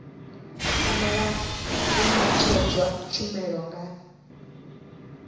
fanela u ṅetshedzwa tshumelo nga